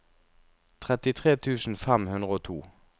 trettitre tusen fem hundre og to